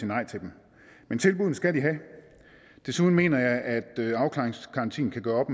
nej til dem men tilbuddene skal de have desuden mener jeg at afklaringsgarantien kan gøre op